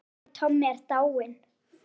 Afi Tommi er dáinn.